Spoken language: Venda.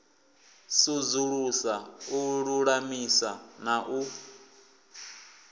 sudzulusa u lulamisa na u